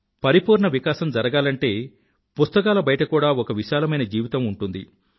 పరిపూర్ణ వికాసం జరగాలంటే పుస్తకాల బయట కూడా ఒక విశాలమైన జీవితం ఉంటుంది